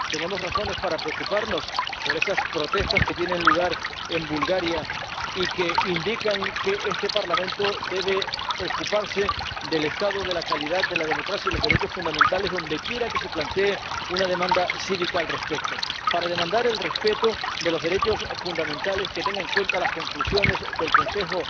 Tenemos razones para preocuparnos por esas protestas que tienen lugar en Bulgaria y que indican que este Parlamento debe ocuparse del estado de la calidad de la democracia y de los derechos fundamentales, dondequiera que se plantee una demanda cívica al respecto, para demandar el respeto de los derechos fundamentales, que tenga en cuenta las conclusiones del Consejo